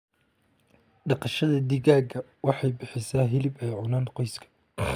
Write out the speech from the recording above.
Dhaqashada digaaga waxay bixisaa hilib ay cunaan qoyska.